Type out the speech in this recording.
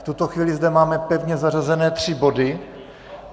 V tuto chvíli zde máme pevně zařazené tři body.